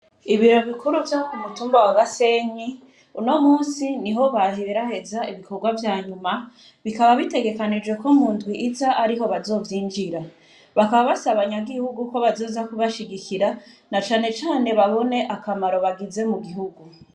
Ibiro bikuru vyo kumutumba wa Gasenyi uno munsi niho baheraheza ibikorwa vyanyuma bikaba bitegekanijwe ko mundwi iza ariho bazovyinjira, bakaba basaba banyagihugu ko bazoza bubashigikira na cane cane babone akamaro bagize mu gihugu.